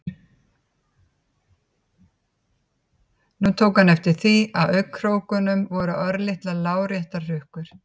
Nú tók hann eftir því að í augnkrókunum voru örlitlar láréttar hrukkur.